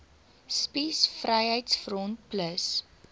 spies vryheids front plus